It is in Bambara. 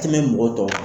Tɛmɛ mɔgɔ tɔw kan